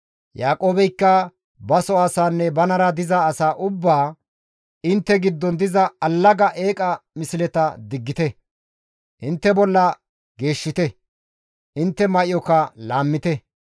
Yaaqoobeykka baso asaanne banara diza asaa ubbaa, «Intte giddon diza allaga eeqa misleta diggite; intte bolla geeshshite; intte may7oka laammite.